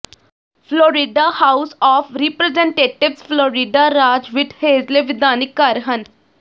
Florida House of Representatives Florida ਰਾਜ ਵਿੱਚ ਹੇਠਲੇ ਵਿਧਾਨਿਕ ਘਰ ਹਨ